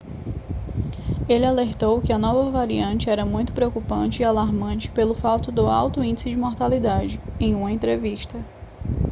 ele alertou que a nova variante era muito preocupante e alarmante pelo fato do alto índice de mortalidade em uma entrevista